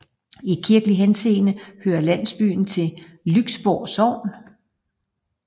I kirkelig henseende hører landsbyen til Lyksborg Sogn